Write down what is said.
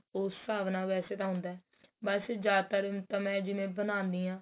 ਉਸ ਹਿਸਾਬ ਨਾਲ ਵੇਸੇ ਤਾਂ ਹੁੰਦਾ ਬੱਸ ਜਿਆਦਾ ਤਰ ਤਾਂ ਮੈਂ ਜਿਵੇਂ ਬਣਾਨੀ ਆ